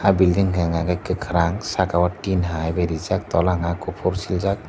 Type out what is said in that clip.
o building hwnka khe kwkhwrang saka o tin hai rijak tola hwnka khe kuphur siljak.